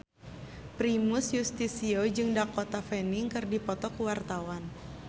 Primus Yustisio jeung Dakota Fanning keur dipoto ku wartawan